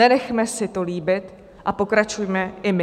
Nenechme si to líbit a pokračujme i my.